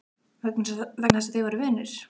Vegna þess að þeir voru vinir?